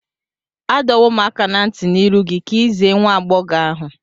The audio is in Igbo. Adọwom aka na nti n'iru gi ka i ize nwa-ab͕ọghọ ahu